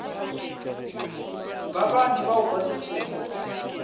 ba bane bao ba šetšego